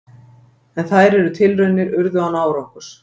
En þær tilraunir urðu án árangurs.